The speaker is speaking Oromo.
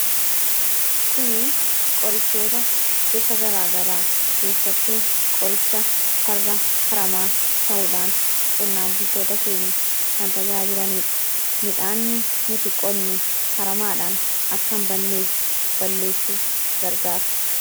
Kuni qorichoota gosa garaa garaa keessattuu qoricha farra haramaa ta'uudhaan qonnaan bultoota keenya kan tajaajilaa jiranidha. Midhaan nuti qonnu haramaadhaan akka hinbanneef balleessuuf gargaara.